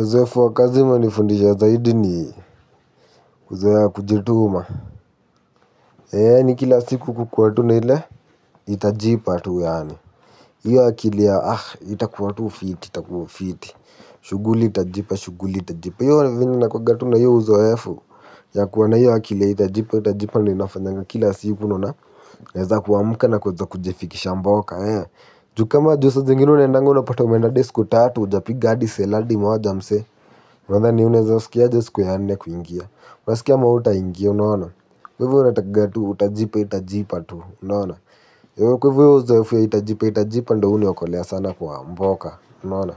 Uzoefu wa kazi umenifundisha zaidi ni kuzoea kujituma yaani kila siku kukuwa tu na ile itajipa tu yaani hiyo akili ya itakuwa tu fiti itakuwa fiti. Shughuli itajipa shughuli itajipa hiyo vyenye nakuwanga tu na hiyo uzoefu ya kuwa na hiyo akili ya itajipa itajipa ndiyo inafanyanga kila siku naona. Naweza kuamuka na kuweza kujifikisha mboka juu kama unajua saa zingine unaendanga unapata umeenda hadi siku tatu hujapiga hadi sale moja msee unadhani unaweza sikia aje siku ya nne kuingia. Unasikia ama hautaingia unaona kwa hivyo inatakanga tu itajipa itajipa tu unaona kwa hivyo hiyo uzoefu ya itajipa itajipa ndiyo huniokolea sana kwa mboka unaona.